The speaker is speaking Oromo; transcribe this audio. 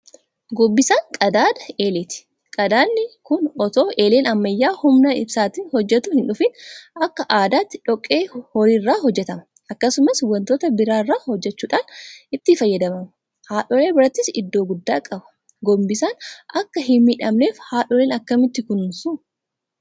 Gombisaan qadaada eeleeti. Qadaadni kun itoo eeleen ammayyaa humna ibsaatiin hojjetu hindhufin; Akka aadaatti dhoqqee horii irraa hojjetama. Akkasumas waantota biraa irraa hojjechuudhaan itti fayyadamama. Haadholii birattis iddoo guddaa qaba. Gombisaan akka hinmiidhamneef haadholiin akkamitti kunuunsu?